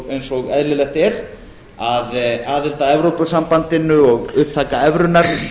eins og eðlilegt er að aðild að evrópusambandinu og upptaka evrunnar